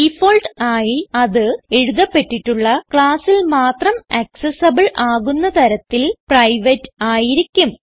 default ആയി അത് എഴുതപ്പെട്ടിട്ടുള്ള ക്ലാസ്സിൽ മാത്രം ആക്സസിബിൾ ആകുന്ന തരത്തിൽ പ്രൈവേറ്റ് ആയിരിക്കും